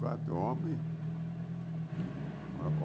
Quatro homens.